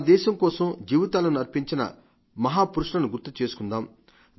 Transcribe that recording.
మన దేశం కోసం జీవితాలను అర్పించిన మహా పురుషులను గుర్తిచేసుకుందాం